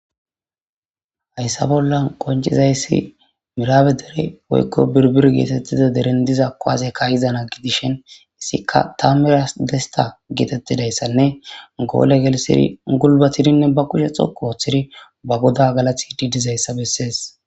Hayisa bolla qoncizayis mirabe dere woyiko biribre getetiza dere diza kuwase kaiza na gidishin izika tamurat desta getetizayisanne gole gelthidi gulbatidi ba kushe dhoqu oxidi ba goda galatishe deizayisa beses.